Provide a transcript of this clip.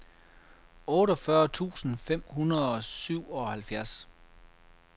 otteogfyrre tusind fem hundrede og syvoghalvfjerds